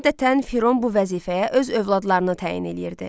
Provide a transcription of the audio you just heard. Adətən Firon bu vəzifəyə öz övladlarını təyin eləyirdi.